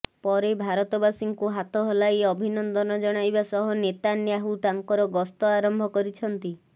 ପରେ ଭାରତବାସୀଙ୍କୁ ହାତ ହଲାଇ ଅଭିନନ୍ଦନ ଜଣାଇବା ସହ ନେତାନ୍ୟାହୁ ତାଙ୍କର ଗସ୍ତ ଆରମ୍ଭ କରିଛନ୍ତି